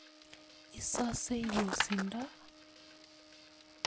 Isose yosindo?